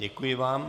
Děkuji vám.